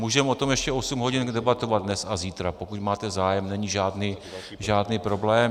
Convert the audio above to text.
Můžeme o tom ještě osm hodin debatovat dnes a zítra, pokud máte zájem, není žádný problém.